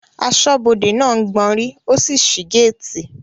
Asọ́bodè náà gbanrí ó sì sí gáàtì